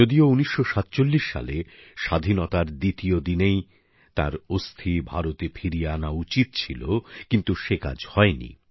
যদিও ১৯৪৭ সালে স্বাধীনতার পরপরই তাঁর অস্থি ভারতে ফিরিয়ে আনা উচিত ছিল কিন্তু সে কাজ হয়নি